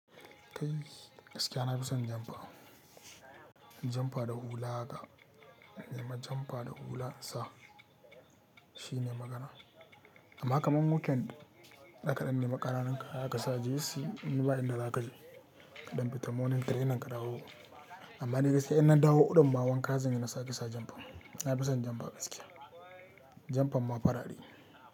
Kai! Gaskiya na fi son jomfa--jomfa da hula haka, in nema jomfa da hula in sa. Shine magana. Amma kamar weekend da kadan nema kananun kaya kasa jeysey, amma ba in da zaka je. Kadan fita morning training ka dawo. Amma ni gaskiya in na dawo ɗin ma wanka zan yi na sake sa jomfa. Na fi son jomfa gaskiya. Jomfan ma farare.